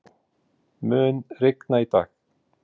Leonardó, mun rigna í dag?